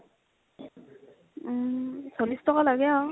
উম, চল্লিচ টকা লাগে আৰু ।